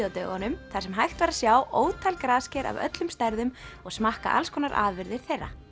á dögunum þar sem hægt var að sjá ótal grasker af öllum stærðum og smakka allskonar afurðir þeirra